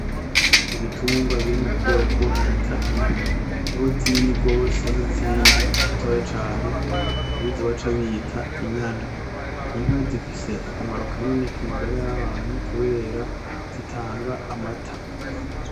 Ibitungwa biri mu bwoko bita inka harimwo zinini gose izindi zitoya cane harizo baca bita inyana inka zifise akamaro kanini ku magara y'abantu kukubera zitanga amata.